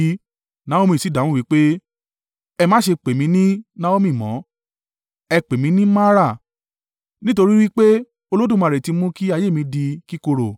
Naomi sì dáhùn wí pé, “Ẹ má ṣe pè mí ní Naomi mọ́, ẹ pè mí ní Mara, nítorí wí pé Olódùmarè ti mú kí ayé mi di kíkorò.